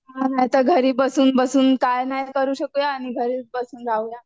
हा नायतर घरी बसून बसून काय नाय करू शकुया आणि घरी बसून राहूया